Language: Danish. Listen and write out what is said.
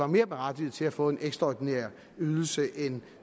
mere berettigede til at få en ekstraordinær ydelse end